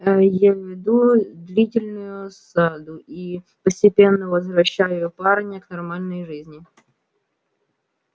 я веду длительную осаду и постепенно возвращаю парня к нормальной жизни